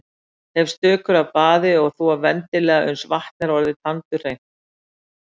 Hef stökur af baði og þvo vendilega uns vatn er tandurhreint.